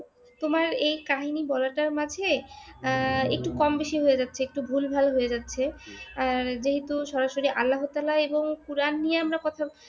তোমার এই কাহিনী বলাটার মাঝে আহ একটু কম বেশী হয়ে যাচ্ছে একটু ভুলভাল হয়ে যাচ্ছে । আর যেহেতু সরাসরি আল্লাহ তাআলা এবং কোরআন নিয়ে আমরা কথা।